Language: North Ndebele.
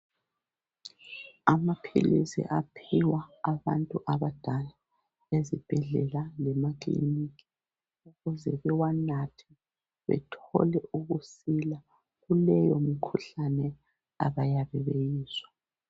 Amaphilisi aphiwa abantu abadala ezibhedlela lemakilinika ukuze bewanathe bethole ukusila kuleyo mikhuhlane abayabe beyizwa.